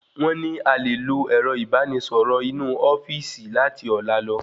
Wón ní a lè lò ẹrọ ìbarà ẹni sọrọ inu ofíìsì lati ọlá lọ